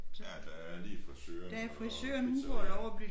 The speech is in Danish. Ja der er lige frisøren og pizzariaet